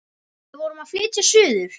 Við vorum að flytja suður.